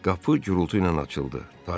Qapı gurultu ilə açıldı.